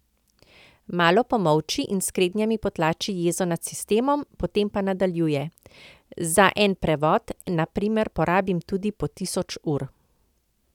Malo pomolči in s kretnjami potlači jezo nad sistemom, potem pa nadaljuje: "Za en prevod, na primer, porabim tudi po tisoč ur.